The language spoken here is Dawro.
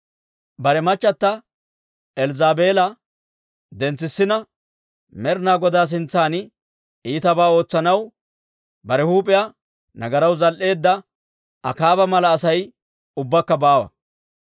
Bare machchata Elzzaabeela dentsetsina, Med'inaa Godaa sintsan iitabaa ootsanaw bare huup'iyaa nagaraw zal"eedda, Akaaba mala Asay ubbakka baawa.